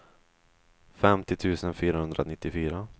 femtio tusen fyrahundranittiofyra